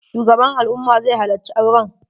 Shugaban al'umma zai halacci auren